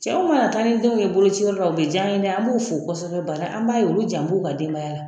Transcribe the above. Cɛw mana taa ni denw ye bolociyɔrɔ la o bɛ diya an ye dɛ an b'u fo kosɛbɛ bari an b'a ye olu jan b'u ka denbaya la